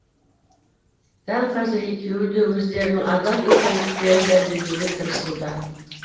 дәл қазір екеуі де өздерінің адал екендіктерін дәлелдеуге тырысуда